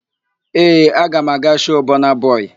Ee, aga m aga shoo Bọna bọị.